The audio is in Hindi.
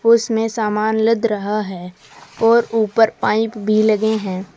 उसमें सामान लद रहा है और ऊपर पाइप भी लगे है।